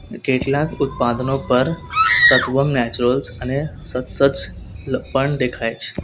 કેટલાક ઉત્પાદનો પર સત્વમ નેચરલ્સ અને પણ દેખાય છે.